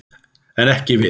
En ekki við.